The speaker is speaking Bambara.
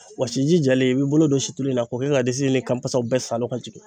Wasiji jalen i b'i bolo don siulu in na k'o kɛ ka disi ni kan pasaw bɛɛ salon ka jigin.